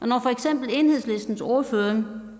når for eksempel enhedslistens ordfører